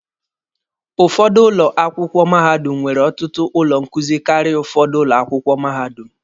Ụfọdụ ụlọ akwụkwọ mahadum nwere ọtụtụ ụlọ nkuzi karịa ụfọdụ ụlọ akwụkwọ mahadum.